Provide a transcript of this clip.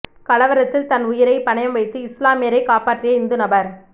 கலவரத்தில் தன் உயிரை பணயம் வைத்து இஸ்லாமியரை காப்பாற்றிய இந்து நபர்